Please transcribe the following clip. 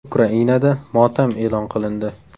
Ukrainada motam e’lon qilindi.